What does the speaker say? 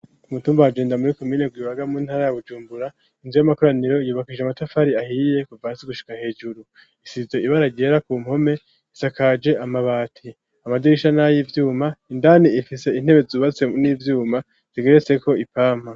Umutumba wagendami muri komine gwibaga mu ntara ya bujumbura inzu y'amakoraniro yubakishijwe amatafari ahiyiye kuva hasi gushika hejuru isize ibara ryera ku mpome isakaje amabati amadirisha n'ay'ivyuma indani ifise intebe zubatse n'ivyuma zigeretse ko ipampa.